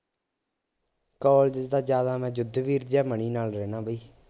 college ਚ ਤਾਂ ਜ਼ਿਆਦਾ ਮੈ ਯੁੱਧਵੀਰ ਜਾਂ ਮਨੀ ਨਾਲ ਰਹਿੰਦਾ ਬਈ